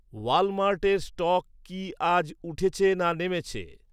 ওয়ালমার্টের stock কী আজ উঠেছে না নেমেছে